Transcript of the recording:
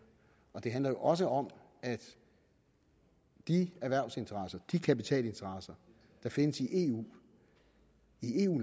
og det handler også om at de erhvervsinteresser de kapitalinteresser der findes i eu